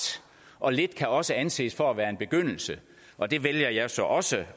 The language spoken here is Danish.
og lidt kan også anses for at være en begyndelse og det vælger jeg så også